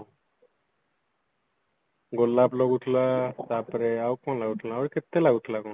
ଗୋଲାପ ଲାଗୁଥିଲା ଆଉ କଣ ଲାଗୁଥିଲା ଆହୁରି କେତେ ଲାଗୁଥିଲା କଣ